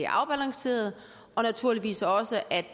afbalanceret og naturligvis også at